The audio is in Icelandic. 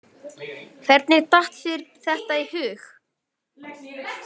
Hvernig datt þér þetta í hug?